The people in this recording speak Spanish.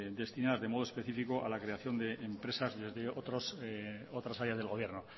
destinadas en modo específico a la creación de empresas desde otras áreas del gobierno